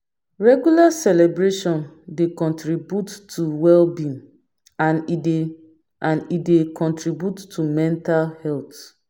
Regular celebration dey contribute to well being and e dey and e dey contribute to mental health